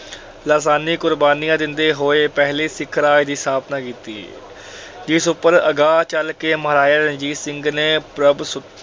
ਲਾਸਾਨੀ ਕੁਰਬਾਨੀਆਂ ਦਿੰਦੇ ਹੋਏ ਪਹਿਲੇ ਸਿੱਖ ਰਾਜ ਦੀ ਸਥਾਪਨਾ ਕੀਤੀ। ਇਸ ਉਪਰ ਅਗਾਹ ਚਲ ਕੇ ਮਹਾਰਾਜਾ ਰਣਜੀਤ ਸਿੰਘ ਨੇ ਪ੍ਰਭੂਸੁਤਾ